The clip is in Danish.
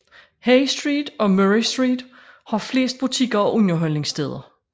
Hay Street og Murray Street har flest butikker og underholdningssteder